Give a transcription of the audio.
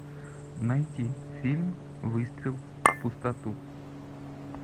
найти фильм выстрел в пустоту